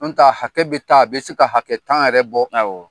An ta hakɛ bɛ taa, a bɛ se ka hakɛ tan yɛrɛ bɔ; Awɔ!